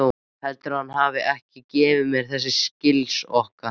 Heldurðu að hann hafi ekki gefið mér þessa silkisokka!